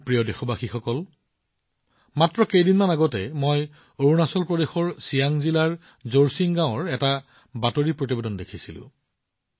মোৰ মৰমৰ দেশবাসীসকল মাত্ৰ কেইদিনমান পূৰ্বে মই অৰুণাচল প্ৰদেশৰ চিয়াং জিলাৰ জোৰচিং গাঁৱৰ এটা বাতৰি দেখিছিলো